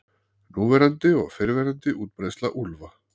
Núverandi og fyrrverandi útbreiðsla úlfa.